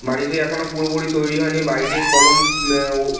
বাড়িটি এখনো পুরোপুরি তৈরী হয়নি বাড়িটির কলম উম ও--